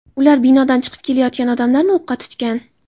Ular binodan chiqib kelayotgan odamlarni o‘qqa tutgan.